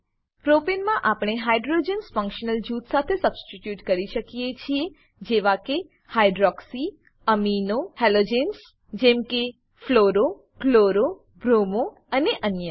પ્રોપને propane માં આપણે hydrogens hydrogens functional જૂથ સાથે સબસ્ટીટ્યુટ કરી શકીએ છીએ જેવા કે હાઇડ્રોક્સી અમીનો હેલોજન્સ જેમ કે ફ્લુરો ક્લોરો બ્રોમો અને અન્ય